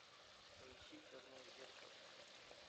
поищи черное зеркало